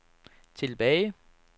tilbage